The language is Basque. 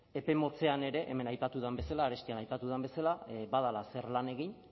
epe motzean ere hemen aipatu den bezala arestian aipatu den bezala badela zer lan egin